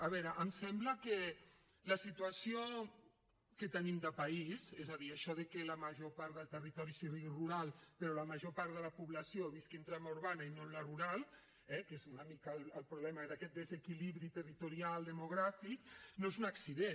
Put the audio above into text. a veure em sembla que la situació que tenim de país és a dir això de que la major part del territori sigui rural però la major part de la població visqui en trama urbana i no en la rural eh que és una mica el problema d’aquest desequilibri territorial demogràfic no és un accident